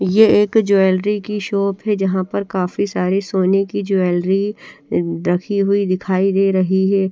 ये एक ज्वेलरी की शोप हे जहा पर काफी सारी सोने की ज्वेलरी रखी हुई दिखाई दे रही हे।